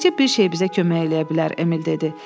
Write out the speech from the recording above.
Təkcə bir şey bizə kömək eləyə bilər, Emil dedi.